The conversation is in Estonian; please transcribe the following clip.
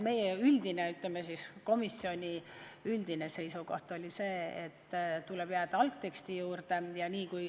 Meie komisjoni üldine seisukoht oli see, et tuleb jääda algteksti juurde.